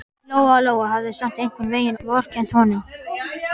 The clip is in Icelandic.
Lóa-Lóa hafði samt einhvern veginn vorkennt honum.